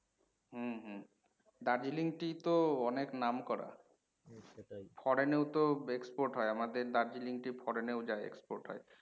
হম hmm. Darjeeling tea তো অনেক নাম করা। foreign এ ও তো export হয় আমাদের দার্জিলিং tea foreign এ ও যায় export হয়।